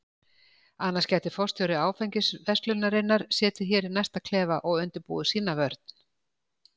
Annars gæti forstjóri áfengisverslunarinnar setið hér í næsta klefa og undirbúið sína vörn.